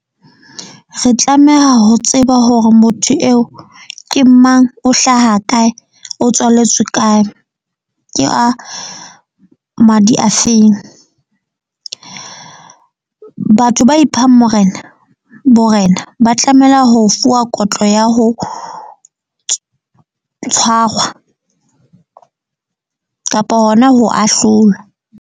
Re tlameha ho tseba hore motho eo ke mang, o hlaha kae, o tswaletswe kae. Ke a madi a feng. Batho ba iphang Morena Borena ba tlameha ho fuwa kotlo ya ho tshwarwa kapa hona ho ahlolwa.